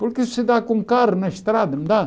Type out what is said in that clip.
Porque isso se dá com um carro na estrada, não dá?